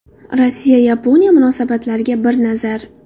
Rossiya – Yaponiya munosabatlariga bir nazar.